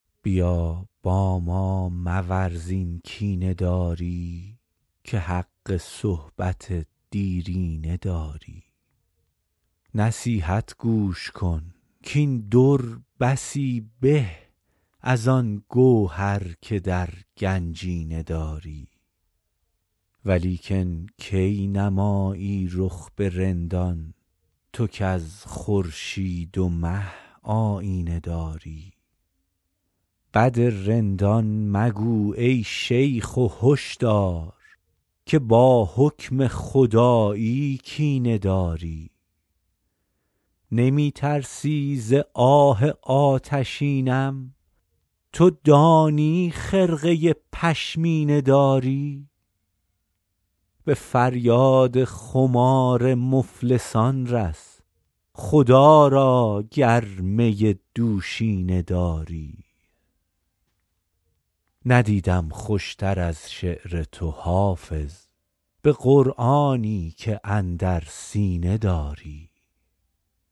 بیا با ما مورز این کینه داری که حق صحبت دیرینه داری نصیحت گوش کن کاین در بسی به از آن گوهر که در گنجینه داری ولیکن کی نمایی رخ به رندان تو کز خورشید و مه آیینه داری بد رندان مگو ای شیخ و هش دار که با حکم خدایی کینه داری نمی ترسی ز آه آتشینم تو دانی خرقه پشمینه داری به فریاد خمار مفلسان رس خدا را گر می دوشینه داری ندیدم خوش تر از شعر تو حافظ به قرآنی که اندر سینه داری